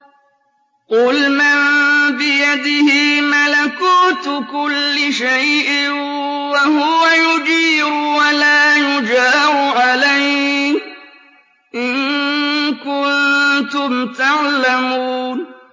قُلْ مَن بِيَدِهِ مَلَكُوتُ كُلِّ شَيْءٍ وَهُوَ يُجِيرُ وَلَا يُجَارُ عَلَيْهِ إِن كُنتُمْ تَعْلَمُونَ